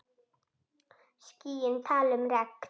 Skýin tala um regn.